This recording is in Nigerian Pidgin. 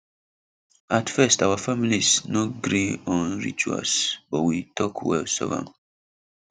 at first out families no gree on rituals but we talk well solve am